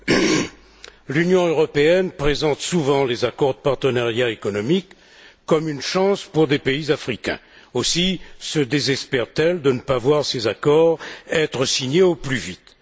Madame la Présidente, l'Union européenne présente souvent les accords de partenariat économique comme une chance pour les pays africains. Aussi se désespère t elle de ne pas voir ces accords être signés au plus vite.